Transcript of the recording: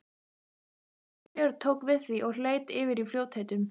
Síra Björn tók við því og leit yfir í fljótheitum.